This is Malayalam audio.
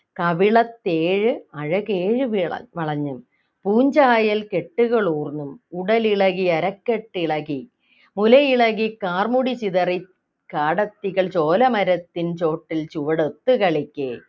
കവിളത്തേഴ് അഴകേഴു വിള വളഞ്ഞും പൂഞ്ചായൽ കെട്ടുകളൂർന്നും ഉടലിളകിയരക്കെട്ടിളകി മുലയിളകിക്കാർമുടി ചിതറി കാടത്തികൾ ചോലമരത്തിൻ ചോട്ടിൽ ചുവടൊത്തു കളിക്കെ